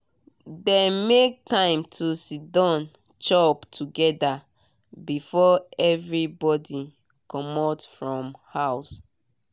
dem make time to siddon chop together before everybody comot from house.